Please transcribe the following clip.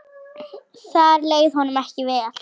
Þar leið honum ekki vel.